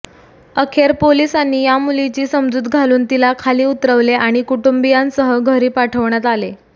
अखेर पोलिसांनी या मुलीची समजूत घालून तिला खाली उतरवले आणि कुटुंबीयांसह घरी पाठविण्यात आले